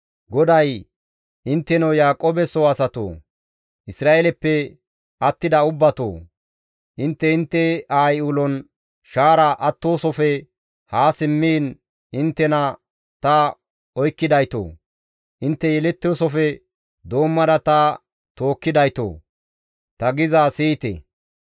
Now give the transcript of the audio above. GODAY, «Intteno Yaaqoobe soo asatoo! Isra7eeleppe attida ubbatoo! Intte intte aayi ulon shaara attoosafe haa simmiin inttena ta oykkidaytoo! Intte yelettoosofe doommada ta tookkidaytoo! Ta gizaa siyite.